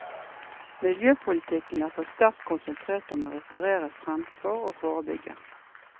Miljøpolitikken er for sterkt konsentrert om å reparere fremfor å forebygge.